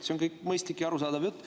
See on kõik mõistlik ja arusaadav jutt.